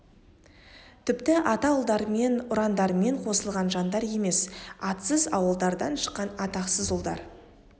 тіпті ата ұлдарымен ұрандармен қосылған жандар емес атсыз ауылдардан шыққан атақсыз ұлдар